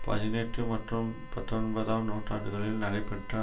பதினெட்டு மற்றும் பத்தொன்பதாம் நூற்றாண்டுகளில் நடைபெற்ற